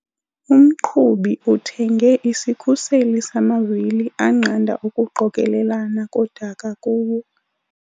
Umqhubi uthenge isikhuseli samavili anqanda ukuqokelelana kodaka kuwo.